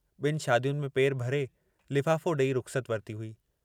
ॿिनि शादियुनि में पेर भरे, लिफ़ाफ़ो ॾेई रुख़्सत वरिती हुई।